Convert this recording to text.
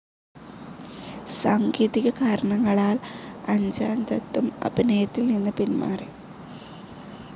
സാങ്കേതികകാരണങ്ങളാൽ അഞ്ജ്ജാൻ ദത്തും അഭിനയത്തിൽ നിന്ന് പിന്മാറി.